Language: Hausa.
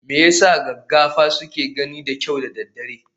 Me yasa gaggafa suke gani da kyau da daddare?